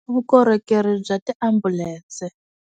Vukorhokeri bya ti ambulense.